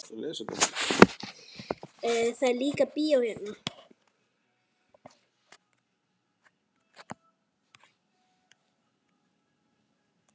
Það er líka bíó hérna.